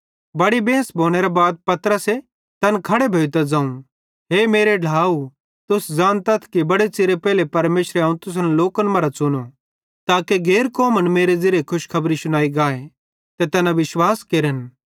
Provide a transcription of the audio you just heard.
बड़ी बेंस भोनेरे बाद पतरसे तैन खड़े भोइतां ज़ोवं हे मेरे ढ्लाव तुस ज़ानतथ कि बड़े च़िरे पेइले परमेशरे अवं तुसन लोकन मरां च़ुनो ताके गैर कौमन मेरे ज़िरीये खुशखबरी शुनाई गाए ते तैना विश्वास केरन